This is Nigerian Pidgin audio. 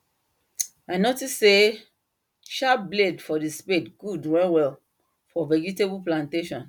i notice say sharp blade for the spade good well well for vegetable plantation